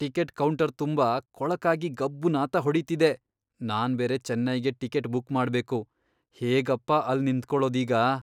Ticket counter ತುಂಬಾ ಕೊಳಕಾಗಿ ಗಬ್ಬು ನಾತ ಹೊಡೀತಿದೆ. ನಾನ್ಬೇರೆ ಚೆನ್ನೈಗೆ ಟಿಕೆಟ್ ಬುಕ್ ಮಾಡ್ಬೇಕು, ಹೇಗಪ್ಪಾ ಅಲ್ಲ್ ನಿಂತ್ಕೊಳೋದೀಗ?